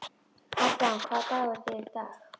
Adam, hvaða dagur er í dag?